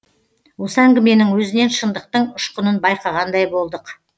осы әңгіменің өзінен шындықтың ұшқынын байқағандай болдық